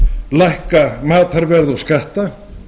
lækka matarverð og skatta